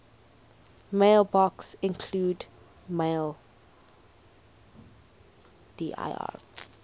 mailboxes include maildir